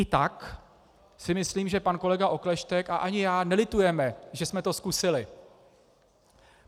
I tak si myslím, že pan kolega Okleštěk a ani já nelitujeme, že jsme to zkusili.